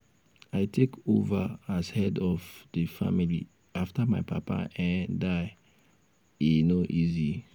i take over as head of um di family after my papa um die e um no easy.